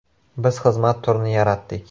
Biz xizmat turini yaratdik.